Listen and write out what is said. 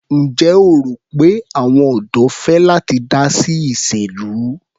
Ǹjẹ́ o rò pé àwọn ọ̀dọ́ fẹ́ láti dá sí ìṣèlú?